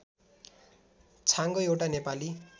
छाँगो एउटा नेपाली